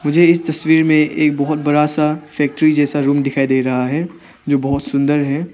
मुझे इस तस्वीर में एक बहुत बड़ा सा फैक्ट्री जैसा रूम दिखाई दे रहा है जो बहुत सुंदर है।